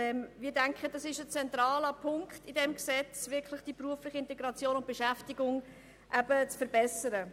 Es scheint mir ein zentraler Punkt in diesem Gesetz, die berufliche Integration und Beschäftigung zu verbessern.